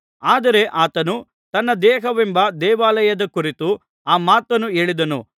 ಆದರೆ ಆತನು ತನ್ನ ದೇಹವೆಂಬ ದೇವಾಲಯದ ಕುರಿತು ಆ ಮಾತನ್ನು ಹೇಳಿದನು